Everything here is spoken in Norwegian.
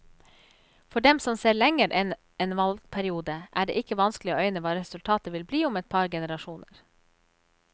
For dem som ser lenger enn en valgperiode, er det ikke vanskelig å øyne hva resultatet vil bli om et par generasjoner.